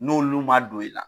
N'olu man don i la.